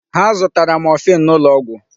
Ha zụtara morphine n'ụlọ ọgwụ.